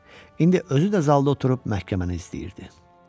İndi özü də zalda oturub məhkəməni izləyirdi.